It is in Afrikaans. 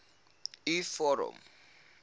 u vorm